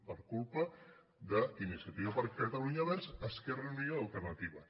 per culpa d’iniciativa per catalunya verds esquerra unida i alternativa